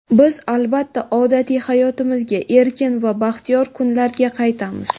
Biz, albatta, odatiy hayotimizga, erkin va baxtiyor kunlarga qaytamiz.